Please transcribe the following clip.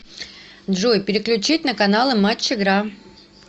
джой переключить на каналы матч игра